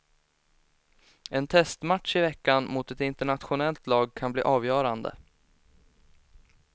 En testmatch i veckan mot ett internationellt lag kan bli avgörande.